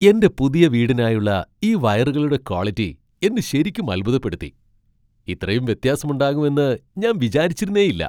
എന്റെ പുതിയ വീടിനായുള്ള ഈ വയറുകളുടെ ക്വാളിറ്റി എന്നെ ശരിക്കും അത്ഭുതപ്പെടുത്തി . ഇത്രയും വ്യത്യാസം ഉണ്ടാകുമെന്ന് ഞാൻ വിചാരിച്ചിരുന്നേയില്ല!